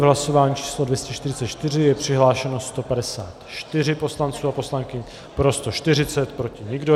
V hlasování číslo 244 je přihlášeno 154 poslanců a poslankyň, pro 140, proti nikdo.